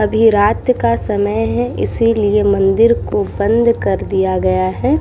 अभी रात का समय है इसलिए मंदिर को बंद कर दिया गया है।